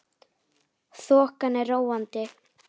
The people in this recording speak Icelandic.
Þokan er róandi